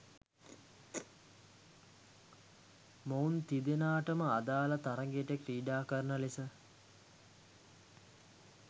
මොවුන් තිදෙනාටම අදාල තරගයට ක්‍රීඩාකරන ලෙස